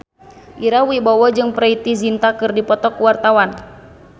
Ira Wibowo jeung Preity Zinta keur dipoto ku wartawan